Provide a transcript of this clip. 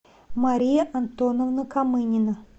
мария антоновна камынина